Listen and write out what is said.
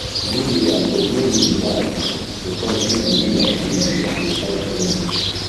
dey loyal but no loose no loose guard to point wey e go be like sey you dey sacrifice too much